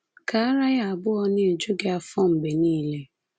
Ka ara ya abụọ na-eju gị afọ mgbe niile.”